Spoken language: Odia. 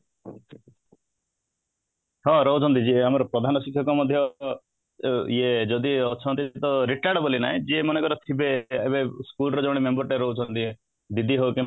ହଁ ରହୁଛନ୍ତି ଯିଏ ଆମର ପ୍ରଧାନଶିକ୍ଷକ ମଧ୍ୟ ଅ ଇୟେ ଯଦି ଅଛନ୍ତି ତ retard ବୋଲି ନାହିଁ ଯିଏ ମନେକର ଥିବେ ଏବେ school ର ଜଣେ member ଟେ ରହୁଛନ୍ତି ଦିଦି ରହୁଛନ୍ତି